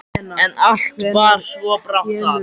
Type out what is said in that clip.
En allt bar svo brátt að.